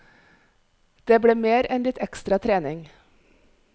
Det ble mer enn litt ekstra trening.